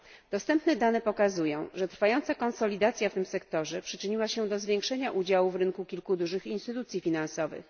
Dostępne dane pokazują, że trwająca konsolidacja w tym sektorze przyczyniła się do zwiększenia udziału w rynku kilku dużych instytucji finansowych.